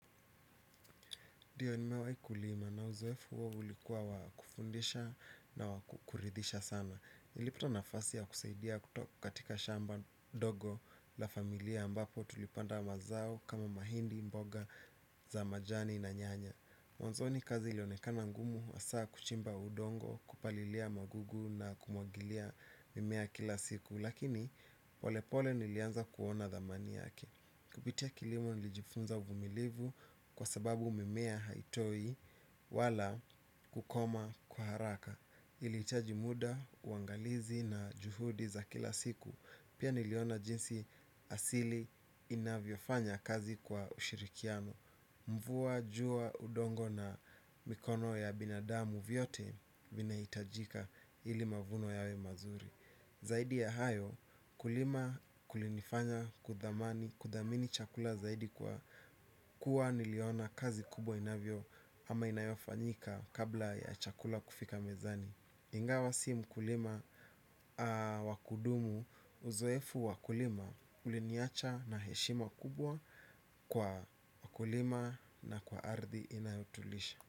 Ndiyo nimewahi kulima na uzoefu huo ulikuwa wa kufundisha na wa kuridhisha sana. Nilipata nafasi ya kusaidia katika shamba ndogo la familia ambapo tulipanda mazao kama mahindi mboga za majani na nyanya. Mwanzoni kazi ilionekana ngumu hasa kuchimba udongo kupalilia magugu na kumwagilia mimea kila siku. Lakini polepole nilianza kuona thamani yake. Kupitia kilimo nilijifunza uvumilivu kwa sababu mimea haitoi wala kukomaa kwa haraka. Ilihitaji muda, uangalizi na juhudi za kila siku pia niliona jinsi asili inavyofanya kazi kwa ushirikiano mvua, jua, udongo na mikono ya binadamu vyote vinahitajika ili mavuno yawe mazuri. Zaidi ya hayo kulima kulinifanya kuthamani kuthamini chakula zaidi kwa kuwa niliona kazi kubwa inavyo ama inayofanyika kabla ya chakula kufika mezani ingawa si mkulima wa kudumu uzoefu wa kulima uliniacha na heshima kubwa kwa wakulima na kwa ardhi inayotulisha.